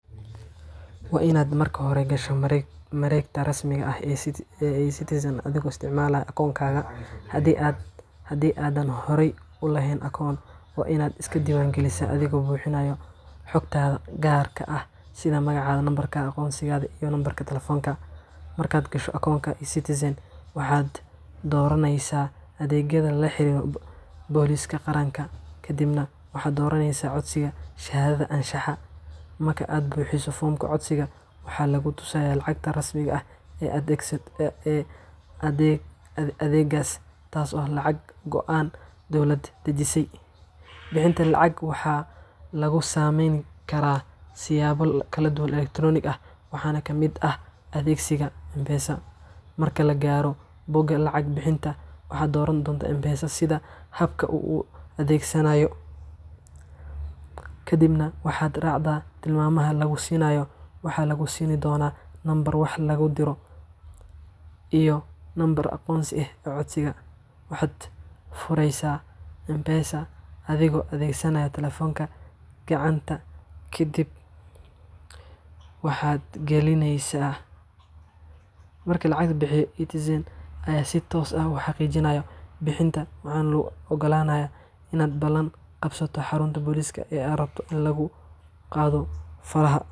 Waa inaad marka hore gasho mareegta rasmiga ah ee eCitizen adigoo isticmaalaya akoonkaaga. Haddii aadan horey u lahayn akoon, waa inaad iska diiwaangelisaa adigoo buuxinaya xogtaada gaarka ah sida magaca, lambarka aqoonsiga, iyo lambarka taleefanka. Markaad gasho akoonkaaga eCitizenka, waxaad dooranaysaa adeegyada la xiriira booliiska qaranka, kadibna waxaad dooranaysaa codsiga shahaadada anshaxa. Marka aad buuxiso foomka codsiga, waxaa lagu tusayaa lacagta rasmiga ah ee adeeggaas, taas oo ah lacag go'an oo dowladda dejisay. Bixinta lacagta waxaa lagu samayn karaa siyaabo kala duwan oo elektaroonik ah, waxaana ka mid ah adeegsiga M-Pesa. Marka la gaaro bogga lacag bixinta, waxaad dooran kartaa M-Pesa sida habka aad u adeegsaneyso, kadibna waxaad raacdaa tilmaamaha lagu siinayo. Waxaa lagu siin doonaa nambarka wax lagu diro paybill number iyo lambarka aqoonsiga ee codsigaaga. Waxaad fureysaa M-Pesa adigoo adeegsanaya taleefankaaga gacanta, kadibna waxaad gashaa: xarunta aad rabto waa ini faraha laga qado.